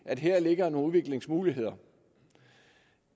at her ligger nogle udviklingsmuligheder